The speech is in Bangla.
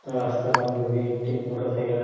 রাস্তার মধ্যে একটি মোটর সাইকেল যা--